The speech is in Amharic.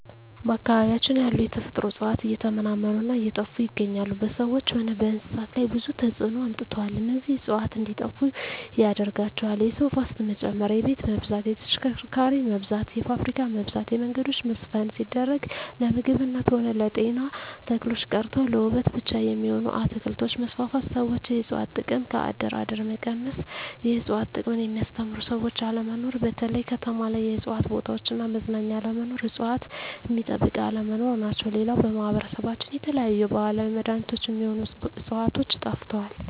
በአካባቢያችን ያሉ የተፈጥሮ እጽዋት እየተመናመኑ እና እየጠፋ ይገኛሉ በሰዎች ሆነ በእንስሳት ላይ ብዙ ተጽዕኖ አምጥተዋል እነዚህ እጽዋት እንዴጠፋ ያደረጋቸው የሰው ፋሰት መጨመር የቤት መብዛት የተሽከርካሪ መብዛት የፋብሪካ መብዛት የመንገዶች መስፍን ሲደረግ ለምግብነት ሆነ ለጤና ተክሎች ቀርተው ለዉበት ብቻ የሚሆኑ አትክልቶች መስፋፋት ሠዎች የእጽዋት ጥቅም ከአደር አደር መቀነስ የእጽዋት ጥቅምን የሚያስተምሩ ሰዎች አለመኖር በተለይ ከተማ ላይ የእጽዋት ቦታዎች እና መዝናኛ አለመኖር እጽዋት ሚጠበቅ አለመኖር ናቸው ሌላው በማህበረሰባችን የተለያዩ የባህላዊ መዳኔቾች ሚሆኑ ህጽዋቾች ጠፍተዋል